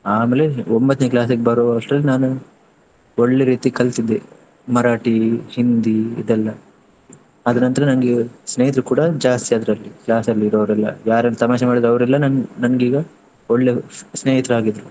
ಆಮೇಲೆ ಒಂಬತ್ನೆ class ಬರುವಷ್ಟ್ರಲ್ಲಿ ನಾನು ಒಳ್ಳೆ ರೀತಿ ಕಲಿತಿದ್ದೆ ಮರಾಠಿ, ಹಿಂದಿ ಇದೆಲ್ಲ. ಆದ ನಂತ್ರ ನಂಗೆ ಸ್ನೇಹಿತ್ರು ಕೂಡ ಜಾಸ್ತಿ ಅದ್ರಲ್ಲಿ class ಅಲ್ಲಿ ಇರೊವ್ರೆಲ್ಲ, ಯಾರೆಲ್ಲಾ ತಮಾಷೆ ಮಾಡಿದ್ರವರೆಲ್ಲ ನನ್~ ನನ್ಗೀಗ ಒಳ್ಳೆ ಸ್ನೇಹಿತ್ರು ಆಗಿದ್ರು.